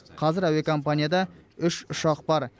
қазір әуе компанияда үш ұшақ бар